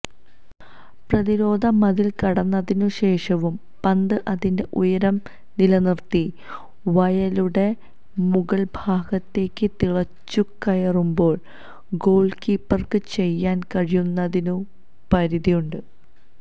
പ്രതിരോധ മതില് കടന്നതിനു ശേഷവും പന്ത് അതിന്റെ ഉയരം നിലനിര്ത്തി വലയുടെ മുകള്ഭാഗത്തേക്ക് തുളച്ചുകയറുമ്പോള് ഗോള്കീപ്പര്ക്ക് ചെയ്യാന് കഴിയുന്നതിനു പരിധിയുണ്ട്